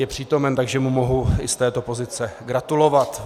Je přítomen, takže mu mohu i z této pozice gratulovat.